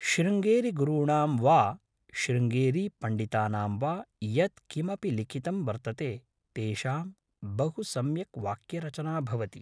शृङेरिगुरूणां वा शृङ्गेरीपण्डितानां वा यत्किमपि लिखितं वर्तते तेषाम् बहु सम्यक् वाक्यरचना भवति